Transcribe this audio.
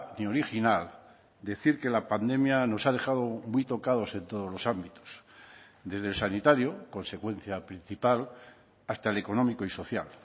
ni original decir que la pandemia nos ha dejado muy tocados en todos los ámbitos desde el sanitario consecuencia principal hasta el económico y social